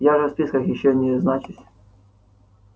я же в списках ещё не значусь